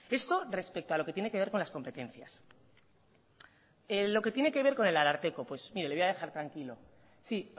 esto respeto a lo que tiene que ver con las competencias lo que tiene que ver con el ararteko pues mire le voy a dejar tranquilo sí